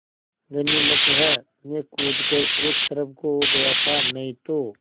गनीमत है मैं कूद कर एक तरफ़ को हो गया था नहीं तो